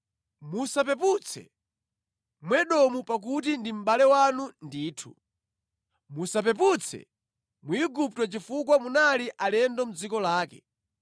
Musapeputse Mwedomu pakuti ndi mʼbale wanu ndithu. Musapeputse Mwigupto chifukwa munali alendo mʼdziko lake.